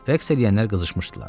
Rəqs eləyənlər qızışmışdılar.